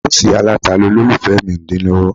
Bọ́ǹsì aláta ni olólùfẹ́ mi ń dín lọ́wọ́